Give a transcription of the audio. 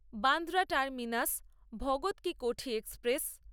Bandra terminus Bhagat Ki Kothi express